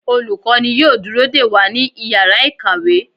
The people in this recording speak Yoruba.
Olukọni yóò dúró dẹ wa ní ìyára ikáwe